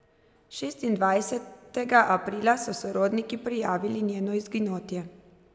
Šestindvajsetega aprila so sorodniki prijavili njeno izginotje.